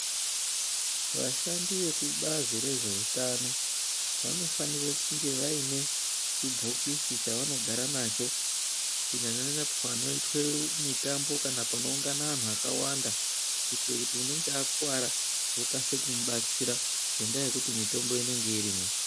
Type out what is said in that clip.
Vashandi vekubazi rezveutano vanofanire kunge vaine chibhokisi chavanogara kunyanya panoitwe mitambo kana panoungane anhu akawanda kuitire kuti unenge akuwara okasike kumubatsira ngendaa yekuti mitombo inenge irimwo.